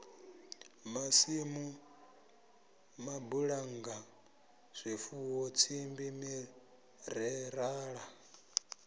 masimu mabulannga zwifuwo tsimbi mirerala